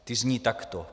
Ty zní takto: